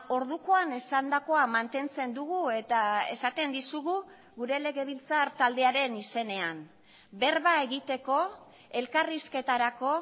ordukoan esandakoa mantentzen dugu eta esaten dizugu gure legebiltzar taldearen izenean berba egiteko elkarrizketarako